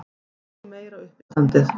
Þetta er nú meira uppistandið!